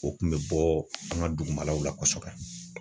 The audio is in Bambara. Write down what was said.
O kun bɛ bɔ an ka dugumalaw la kosɛbɛ.